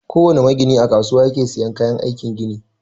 Kowana magini a kasuwa yake siyan kayan aikin gini.